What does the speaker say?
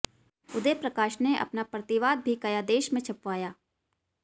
उदय प्रकाश ने अपना प्रतिवाद भी कथादेश में छपवाया